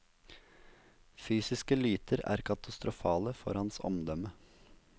Fysiske lyter er katastrofale for hans omdømme.